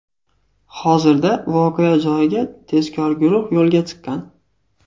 Hozirda voqea joyiga tezkor guruh yo‘lga chiqqan.